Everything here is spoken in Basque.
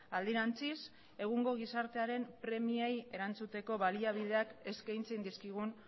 alderantziz egungo gizartearen premiei erantzuteko baliabideak eskaintzen dizkigun